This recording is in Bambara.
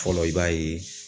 Fɔlɔ i b'a ye